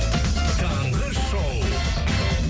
таңғы шоу